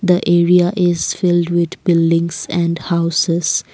the area is filled with buildings and houses.